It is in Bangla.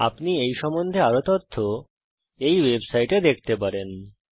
আপনি এই সম্বন্ধে আরও তথ্য httpspoken tutorialorgNMEICT Intro এই ওয়েবসাইটে দেখতে পারেন